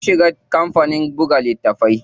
Sun shiga cikin kampanin buga littatafai.